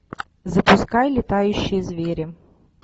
запускай летающие звери